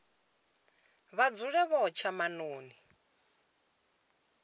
vha dzule vho tsha maṱoni